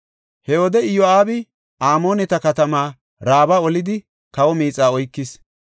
He wode Iyo7aabi Amooneta katama Raaba olidi kawo miixaa oykis.